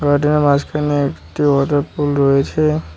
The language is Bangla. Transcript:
এটার মাঝখানে একটি ওয়াটার পুল রয়েছে।